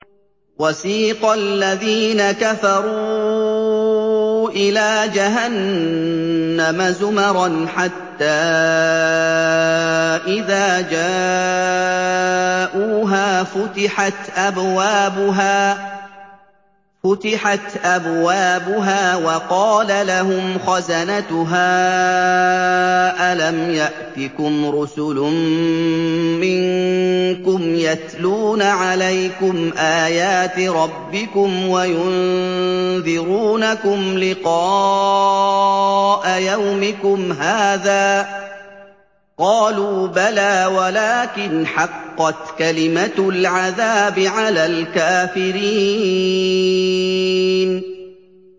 وَسِيقَ الَّذِينَ كَفَرُوا إِلَىٰ جَهَنَّمَ زُمَرًا ۖ حَتَّىٰ إِذَا جَاءُوهَا فُتِحَتْ أَبْوَابُهَا وَقَالَ لَهُمْ خَزَنَتُهَا أَلَمْ يَأْتِكُمْ رُسُلٌ مِّنكُمْ يَتْلُونَ عَلَيْكُمْ آيَاتِ رَبِّكُمْ وَيُنذِرُونَكُمْ لِقَاءَ يَوْمِكُمْ هَٰذَا ۚ قَالُوا بَلَىٰ وَلَٰكِنْ حَقَّتْ كَلِمَةُ الْعَذَابِ عَلَى الْكَافِرِينَ